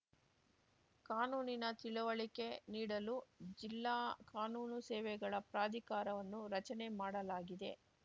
ಕಾನೂನಿನ ತಿಳಿವಳಿಕೆ ನೀಡಲು ಜಿಲ್ಲಾ ಕಾನೂನು ಸೇವೆಗಳ ಪ್ರಾಧಿಕಾರವನ್ನು ರಚನೆ ಮಾಡಲಾಗಿದೆ